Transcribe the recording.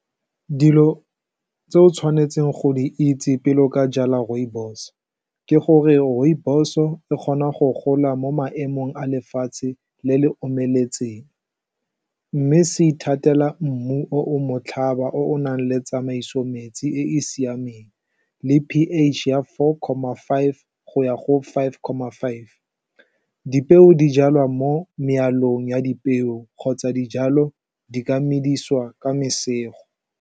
Dilo tse o tshwanetseng go di itse pele o ka jala rooibos, ke gore rooibos-o e kgona go gola mo maemong a lefatshe le le omeletseng, mme se ithatela mmu o o motlhaba o o nang le tsamaiso metsi e e siameng, le pH ya four comma five go ya go five comma five, dipeo di jalwa mo mealong ya dipeo kgotsa dijalo di ka medisiwa ka masego.